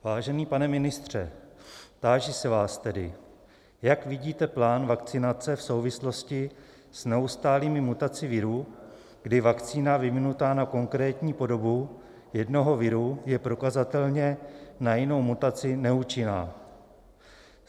Vážený pane ministře, táži se vás tedy: Jak vidíte plán vakcinace v souvislosti s neustálými mutacemi viru, kdy vakcína vyvinutá na konkrétní podobu jednoho viru je prokazatelně na jinou mutaci neúčinná?